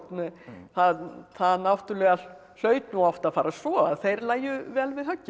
það það náttúrulega hlaut nú oft að fara svo að þeir lægju vel við höggi